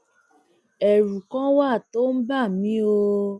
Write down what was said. ẹrù kan wà tó ń bà mí o